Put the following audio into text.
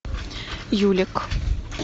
юлик